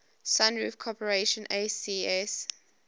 sunroof corporation asc